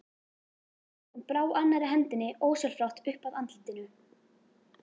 Hún brá annarri hendinni ósjálfrátt upp að andlitinu.